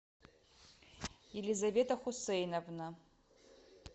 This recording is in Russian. елизавета хусейновна